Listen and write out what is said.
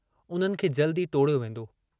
उन्हनि खे जल्दु ई टोड़ियो वेन्दो।